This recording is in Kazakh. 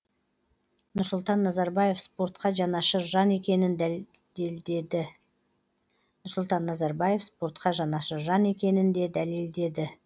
нұрсұлтан назарбаев спортқа жанашыр жан екенін де дәлелдеді